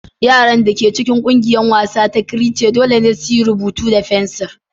Yaran da ke cikin ƙungiyar wasa da creche dole ne su yi rubutu da fensir.